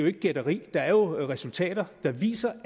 ikke gætteri der er resultater der viser